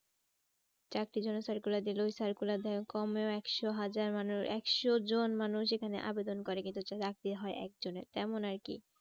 চাকরির জন্য circular যেগুলো circular কমে একশো হাজার মানে একশো জন মানুষ যেখানে আবেদন করে কিন্তু চাকরি হয় একজনের। তেমন আর কি